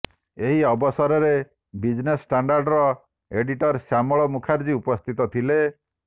ଏହି ଅବସରରେ ବିଜ୍ନେସ୍ ଷ୍ଟାଣ୍ଡାର୍ଡର ଏଡିଟର୍ ଶ୍ୟାମଳ ମୁଖାର୍ଜୀ ଉପସ୍ଥିତ ଥିଲେ